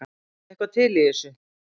Er eitthvað til í þessu